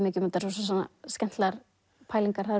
mikið um þetta rosalega skemmtilegar pælingar það